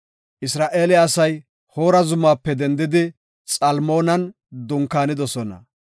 Isra7eele asay Hoora zumaape dendidi Xalmoonan dunkaanidosona.